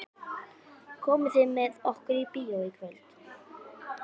Komið þið með okkur í bíó í kvöld?